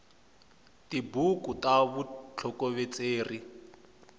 tibuku ta vutsokovetseri